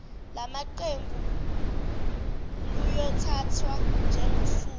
lamaqembu luyothathwa njengosuku